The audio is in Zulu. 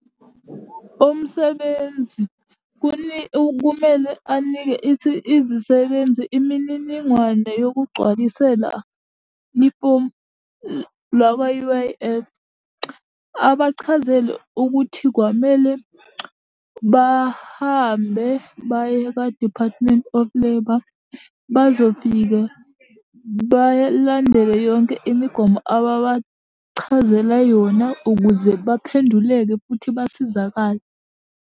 Umsebenzi kumele anike izisebenzi imininingwane yokugcwalisela ifomu lwakwa-U_I_F. Abachazele ukuthi kwamele bahambe baye ka-Department of Labour, bazofike balandele yonke imigomo ababachazele yona ukuze baphenduleke futhi basizakale.